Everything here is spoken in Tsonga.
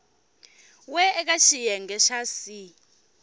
we eka xiyenge xa c